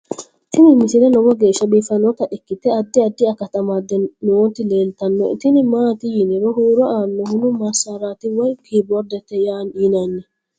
tini misile lowo geeshsha biiffannota ikkite addi addi akata amadde nooti leeltannoe tini maati yiniro huuro aannohuo massaraati woy kiboordete yinanni